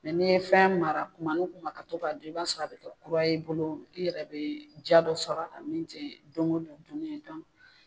ni ye fɛn mara tuma ni tuman ka to ka dun, i b'a sɔrɔ a bi kɛ kura ye i bolo i yɛrɛ be ja dɔ sɔrɔ a min te don go don duni ye